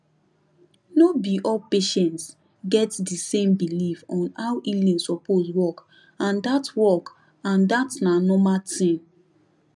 no be all patients get di same belief on how healing suppose work and dat work and dat na normal thing